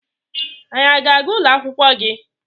Anyị a na-aga ụlọ akwụkwọ gị?